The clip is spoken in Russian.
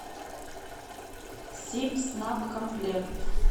сибснабкомплект